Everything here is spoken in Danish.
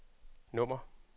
nummer